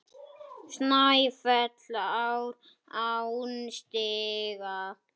Snæfell er án stiga.